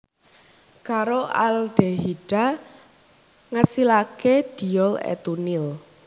Karo aldehida ngasilaké diol etunil